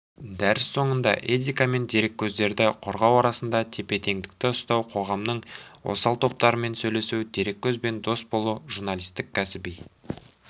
дәріс соңында этика мен дереккөздерді қорғау арасында тепе-теңдікті ұстау қоғамның осал топтарымен сөйлесу дереккөзбен дос болу журналистік кәсіби